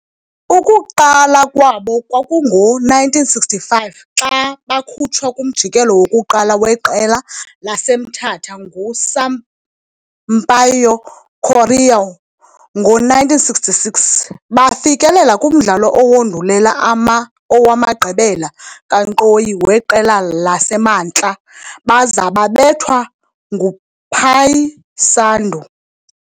Ukuqala kwabo kwakungo-1965 xa bakhutshwa kumjikelo wokuqala weQela laseMthatha nguSampaio Correa. Ngo-1966, bafikelela kumdlalo owandulela owamagqibela kankqoyi weQela laseMantla baza babethwa nguPaysandu.